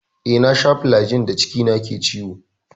Eh, na sha flajil da cikina ke ciwo.